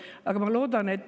Rohkem kõnesoove ei ole.